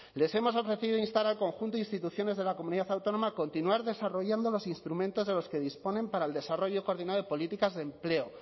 les hemos ofrecido instar al conjunto de instituciones de la comunidad autónoma continuar desarrollando los instrumentos de los que disponen para el desarrollo coordinado de políticas de empleo